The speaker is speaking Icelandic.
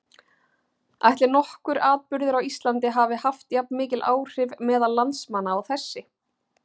Ætli nokkur atburður á Íslandi hafi haft jafnmikil áhrif meðal landsmanna og þessi?